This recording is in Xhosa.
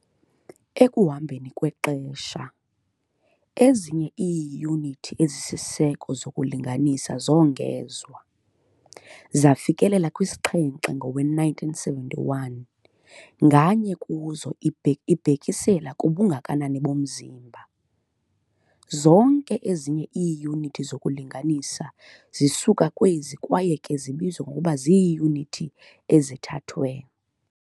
Ekuhambeni kwexesha, ezinye iiyunithi ezisisiseko zokulinganisa zongezwa, zafikelela kwisixhenxe ngowe-1971, nganye kuzo ibhekisela kubungakanani bomzimba. Zonke ezinye iiyunithi zokulinganisa zisuka kwezi kwaye ke zibizwa ngokuba ziiyunithi ezithathwe.